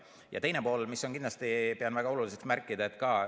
Ja teine pool, mida kindlasti pean ka väga oluliseks märkida.